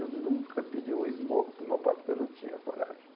Eu nunca pedi um smoke para o meu pai porque eu não tinha coragem.